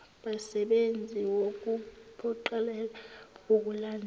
basebenzi wukuphoqelela ukulandelwa